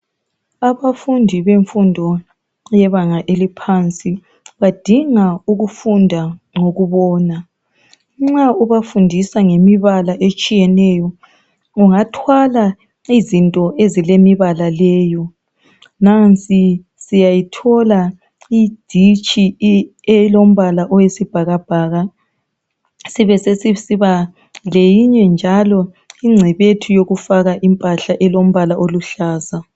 Abafundi benfundo yebanga eliphansi badinga ukufunda ngokubona. Nxa ubafundisa ngemibala etshiyeneyo ungathwala izinto ezilemibala leyi. Nansi siyayithola iditshi elombala oyisibhakabhaka. Sibe sesisiba leyinye njalo ingcebethu yokufaka impahla elombala oluhlaza.